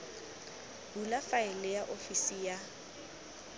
bula faele ya ofisi ya